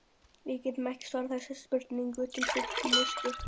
Við getum ekki svarað þessari spurningu til fullnustu.